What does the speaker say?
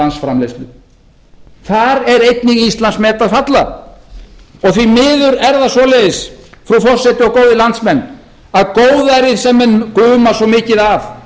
landsframleiðslu þar er einnig íslandsmet að falla því miður er það svoleiðis frú forseti og góðir landsmenn að góðærið sem menn guma svo mikið af